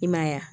I m'a ye wa